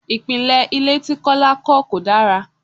Ìpìnlè ilé tí Kọ́lá kọ́ kò dára.